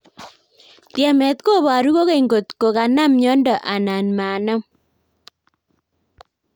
Tyemet koboru kokeny nkot ko konam nyonto anan manam